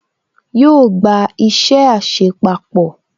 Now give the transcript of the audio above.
Yóò gba isẹ àṣepapọ̀